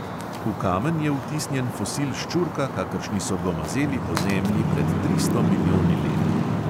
V kamen je vtisnjen fosil ščurka, kakršni so gomazeli po zemlji pred tristo milijoni let.